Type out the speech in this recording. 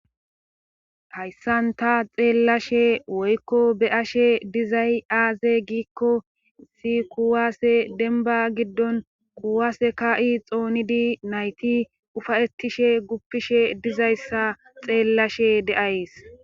Hayssanta xeellashe woykko be ashe dizay aaze giikko si kuwaase denba giddon quwaase ka'i xoonidi nayti ufayetishe guppishe dizayssa xeellashe deays.